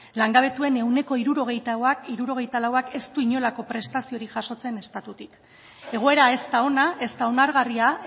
langabetuen ehuneko hirurogeita lauak ez du inolako prestaziorik jasotzen estatutik egoera ez da ona ezta onargarria